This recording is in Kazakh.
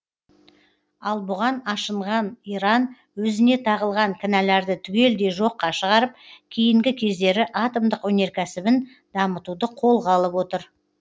ал бұған ашынған иран өзіне тағылған кінәларды түгелдей жоққа шығарып кейінгі кездері атомдық өнеркәсібін дамытуды қолға алып отыр